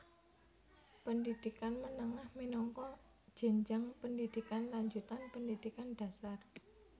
Pendhidhikan menengah minangka jenjang pendhidhikan lanjutan pendhidhikan dhasar